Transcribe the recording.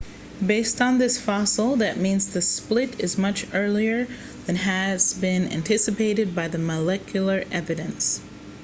based on this fossil that means the split is much earlier than has been anticipated by the molecular evidence